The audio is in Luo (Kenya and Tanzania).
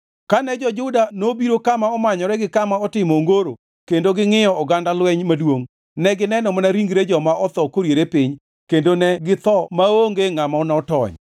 Kane jo-Juda nobiro kama omanyore gi kama otimo ongoro kendo gingʼiyo oganda lweny maduongʼ, negineno mana ringre joma otho koriere piny kendo ne githo maonge ngʼama notony.